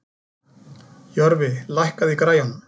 Jörfi, lækkaðu í græjunum.